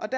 og